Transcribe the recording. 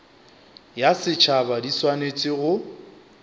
ya setšhaba di swanetše go